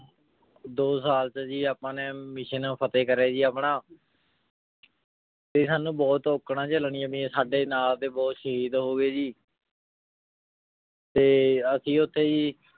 ਦੋ ਸਾਲ ਤੇ ਜੀ ਆਪਾਂ ਨੇ mission ਫ਼ਤੇਹ ਕਾਰ੍ਯ ਜੀ ਆਪਣਾ ਤੇ ਸਾਨੂ ਬੋਹਤ ਓਖਣਾ ਜੇਯ ਲਾਗਿਯਾਂ ਸਾਡੇ ਨਾਲ ਦੇ ਬੋਹਤ ਸ਼ਹੀਦ ਹੋਗੀ ਜੀ ਤੇ ਅਸੀਂ ਓਥੇ ਜੀ